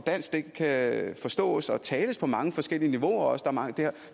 ser at dansk kan forstås og tales på mange forskellige niveauer